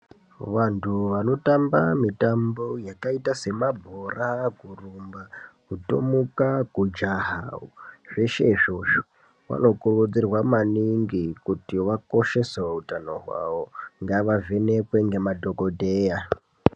Vantu vanotamba mitambo yakaita semabhora, kurumba, kutomuka kujaha, zvezhe izvozvo vanokurudzirwa maningi kuti vakoshese utano wavo ngavavhenekwe ngemadhokodheya.